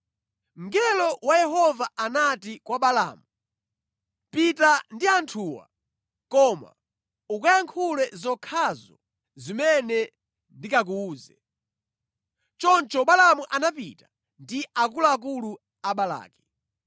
Mngelo wa Yehova anati kwa Balaamu, “Pita ndi anthuwa koma ukayankhule zokhazo zimene ndikakuwuze.” Choncho Balaamu anapita ndi akuluakulu a Balaki.